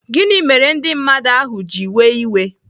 Gịnị mere ndị mmadụ ahu ji wee iwe?